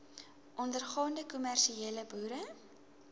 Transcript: ondergaande kommersiële boere